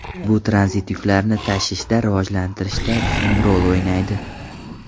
Bu tranzit yuklarni tashishni rivojlantirishda muhim rol o‘ynaydi.